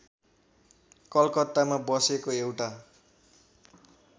कलकत्तामा बसेको एउटा